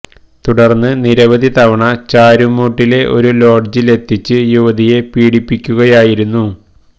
തുടര്ന്ന് നിരവധി തവണ ചാരുംമൂട്ടിലെ ഒരു ലോഡ്ജില് എത്തിച്ച് യുവതിയെ പീഡിപ്പിക്കുകയായിരുന്നു